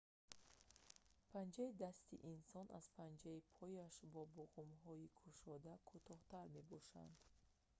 панҷаи дасти инсон аз панҷаи пояш бо буғумҳои кушода кӯтоҳтар мебошанд